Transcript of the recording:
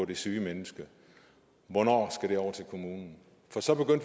det syge menneske hvornår skal den over til kommunen for så